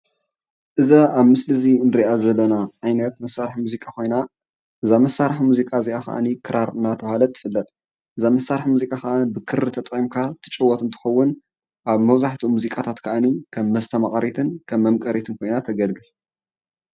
እዛ አብ ምሰሊ እዚ ንሪአ ዘለና ዓይነት መሳርሒ ሙዚቃ ኮይና፣ እዛ መሳርሒ ሙዚቃ እዚኣ ከኣኒ ክራር እናተብሃለት ትፍለጥ፡፡ እዛ መሳርሒ ሙዚቃ ከኣኒ ብክሪ ተጠቂምካ ትጭወት እንትትከውን፣ አብ መብዛሕትኡ ሙዚቃታት ከአኒ ከም መስተማቀሪትን ከም መምከሪትን ኮይና ተገልግል፡፡